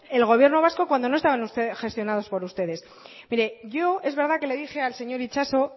el gobierno vasco cuando no estaba gestionado por ustedes yo es verdad que le dije al señor itxaso